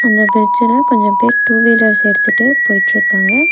இந்த பிரிட்ஜ்ல கொஞ்ச பேர் டூ வீலர்ஸ் எடுத்துட்டு போய்ட்ருக்காங்க.